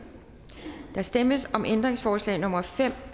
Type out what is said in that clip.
der stemmes om ændringsforslag nummer fem